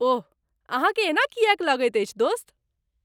ओह ,अहाँके एना किएक लगैत अछि दोस्त?